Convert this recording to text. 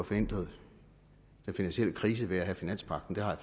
forhindret den finansielle krise ved at have finanspagten det har jeg